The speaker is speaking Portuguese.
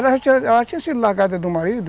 Ela tinha sido largada do marido.